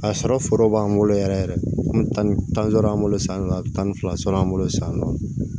A sɔrɔ foro b'an bolo yɛrɛ yɛrɛ an bɛ taa ni tan sɔrɔ an bolo san wɛrɛ a bɛ tan ni fila sɔrɔ an bolo sisan nɔ